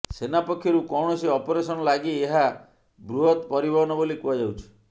ସେନା ପକ୍ଷରୁ କୌଣସି ଅପରେସନ୍ ଲାଗି ଏହା ବୃହତ୍ ପରିବହନ ବୋଲି କୁହାଯାଉଛି